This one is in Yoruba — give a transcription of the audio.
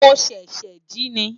mo sese ji ni